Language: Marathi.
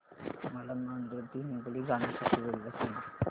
मला नांदेड ते हिंगोली जाण्या साठी रेल्वे सांगा